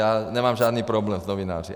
Já nemám žádný problém s novináři.